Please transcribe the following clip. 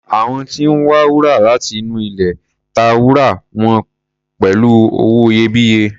Àwọn tí ń wa wúrà láti inú ilẹ̀ ta wúrà wọn pẹ̀lú owó iyebíye.